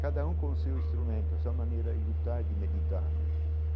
Cada um com seu instrumento, essa maneira e lutar e de meditar né.